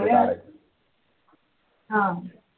हा